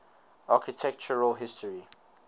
architectural history